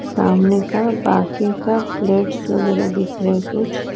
सामने का बाकी का प्लेटस वगैरह दिख रहे है कुछ--